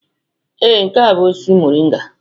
Ee, nke a bụ osisi moringa.